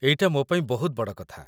ଏଇଟା ମୋ ପାଇଁ ବହୁତ ବଡ଼ କଥା ।